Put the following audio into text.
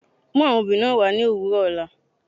Mú àwọn obì wà ní òwùrọ̀ òlà.